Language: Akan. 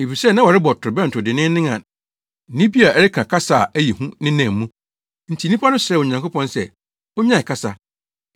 Efisɛ na wɔrebɔ torobɛnto denneennen a nne bi a ɛreka kasa a ɛyɛ hu nenam mu, nti nnipa no srɛɛ Onyankopɔn sɛ onnyae kasa,